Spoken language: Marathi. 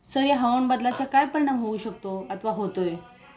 सर या हवामान बदलाचा काय परिणाम होऊ शकतो अथवा होतोय